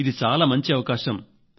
ఇది చాలా మంచి అవకాశం